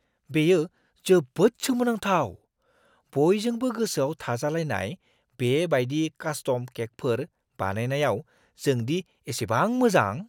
बेयो जोबोद सोमोनांथाव! बयजोंबो गोसोआव थाजालायनाय बे बायदि कास्टम केकफोर बानायनायाव जों दि एसेबां मोजां!